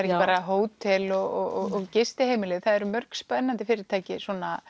ekki bara hótel og gistiheimili það eru mörg spennandi fyrirtæki